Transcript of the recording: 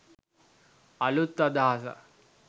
අළුත් අදහසක්